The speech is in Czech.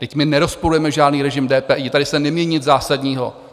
Vždyť my nerozporujeme žádný režim DPI, tady se nemění nic zásadního.